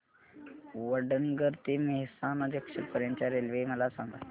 वडनगर ते मेहसाणा जंक्शन पर्यंत च्या रेल्वे मला सांगा